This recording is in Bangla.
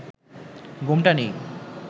ঘোমটা নেই